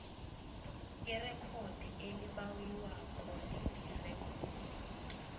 irekhodi elibawiwako lilirekhodi